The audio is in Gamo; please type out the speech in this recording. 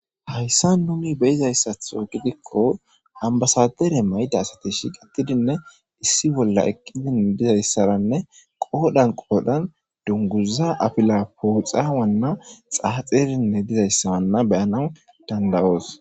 Haysan nuni beyizaysatho gidiko anbassadare mayida asati shiqetidinne issi bolla eqida dizaysaranne wodhan wodhan dunguza afila poxanine xaxidi Wana beyenswu dandayos.